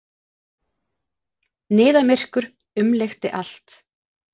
Niðamyrkur umlukti allt.